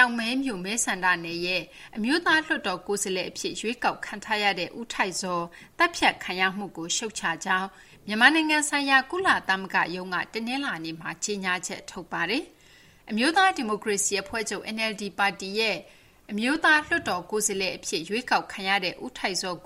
ောက်မဲမြို့ မဲဆန္ဒနယ်ရဲ့ NLD အမျိုးသားလွှတ်တော်ကိုယ်စားလှယ်အဖြစ် ရွေးကောက်ခံထားရသူ ဦးထိုက်ဇော် သတ်ဖြတ်ခံရမှုကို ရှုတ်ချကြောင်း မြန်မာဆိုင်ရာ ကုလသမဂ္ဂရုံးက တနလာၤနေ့မှာ ကြေညာချက်ထုတ်ပါတယ်။ အမျိုးသားဒီမိုကရေစီအဖွဲ့ချုပ် NLD ပါတီရဲ့ အမျိုးသားလွှတ်တော်ကိုယ်စားလှယ်အဖြစ် ရွေးကောက်ခံရသူ ဦးထိုက်ဇော်